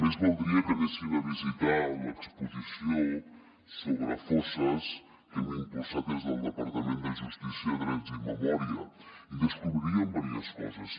més valdria que anessin a visitar l’exposició sobre fosses que hem impulsat des del departament de justícia drets i memòria i hi descobririen diverses coses